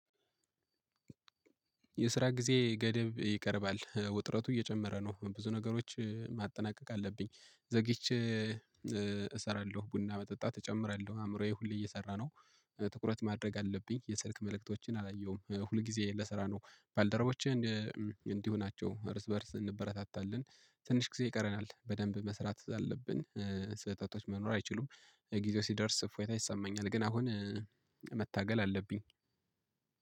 የስራ ጊዜ ገደብ ይቀርባል። ውጥረቱ እየጨመረ ነው። ብዙ ነገሮች ማጠናቀቅ አለብኝ ዘግይቼ እሰራለሁ። ቡና መጠጣት እጨምራለሁ። አእምሮዬ ሁሌ እየሰራ ነው። ትኩረት ማድረግ አለብኝ፣ የስልክ መልእክቶችን አላየሁም። ሁል ጊዜ ለሰራ ነው። ባልደረቦቼ እንዲሁ ናቸው እርስ በእርስ እንበረታታለን። ትንሽ ጊዜ ይቀረናል በደንብ መስራት አለብን። ስህተቶች መኖር አይችሉም። ጊዜው ሲደርስ እፎይታ ይሰማኛል። ግን አሁን መታገል አለብኝ።